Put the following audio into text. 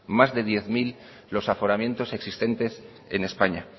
más de diez mil los aforamientos existentes en españa